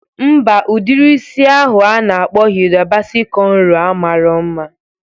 Mba, udiri isi ahụ a na-akpọ Hida Basi kọnro a marọ mma